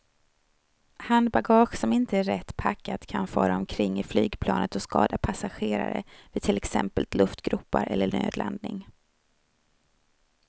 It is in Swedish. Handbagage som inte är rätt packat kan fara omkring i flygplanet och skada passagerare vid till exempel luftgropar eller nödlandning.